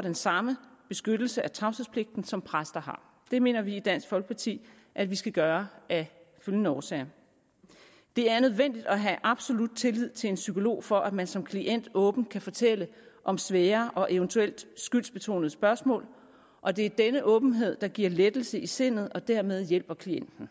den samme beskyttelse af tavshedspligten som præster har det mener vi i dansk folkeparti at vi skal gøre af følgende årsager det er nødvendigt at have absolut tillid til en psykolog for at man som klient åbent kan fortælle om svære og eventuelt skyldsbetonede spørgsmål og det er denne åbenhed der giver lettelse i sindet og dermed hjælper klienten